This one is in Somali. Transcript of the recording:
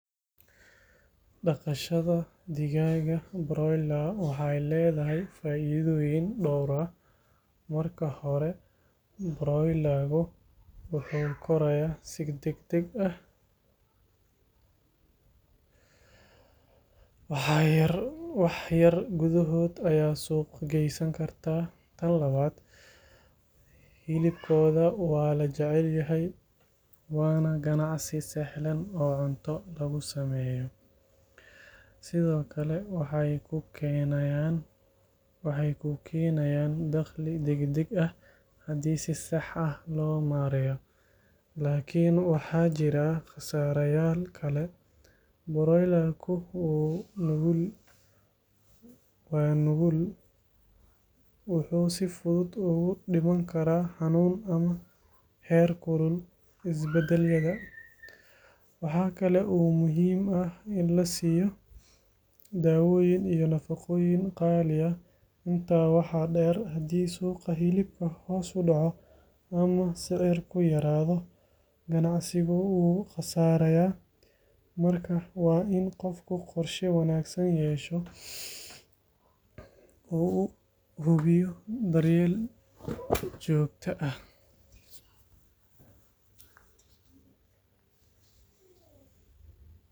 Dhaqashada digaaga broiler waxay leedahay faa’iidooyin dhowr ah. Marka hore, broiler-ku wuxuu korayaa si degdeg ah, wax yar gudahood ayaad suuq geysan kartaa. Tan labaad, hilibkooda waa la jecel yahay waana ganacsi sahlan oo cunto lagu sameeyo. Sidoo kale, waxay kuu keenayaan dakhli degdeg ah haddii si sax ah loo maareeyo. Laakiin waxaa jira khasaareyaal kale. Broiler-ku waa nugul, wuxuu si fudud ugu dhiman karaa xanuun ama heerkul isbeddelaya. Waxaa kale oo muhiim ah in la siiyo daawooyin iyo nafaqooyin qaali ah. Intaa waxaa dheer, haddii suuqa hilibka hoos u dhaco ama sicirku yaraado, ganacsigu wuu khasaarayaa. Marka, waa in qofku qorshe wanaagsan yeesho oo uu hubiyo daryeel joogto ah.